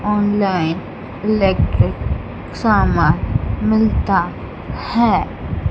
Online electric सामान मिलता है।